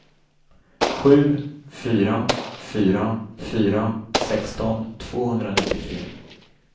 sju fyra fyra fyra sexton tvåhundranittiotre